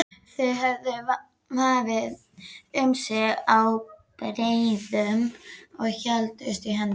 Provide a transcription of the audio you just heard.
Þau höfðu vafið um sig ábreiðum og héldust í hendur.